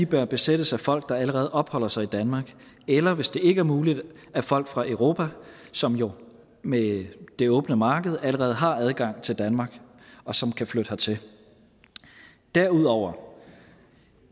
bør besættes af folk der allerede opholder sig i danmark eller hvis det ikke er muligt af folk fra europa som jo med det åbne marked allerede har adgang til danmark og som kan flytte hertil derudover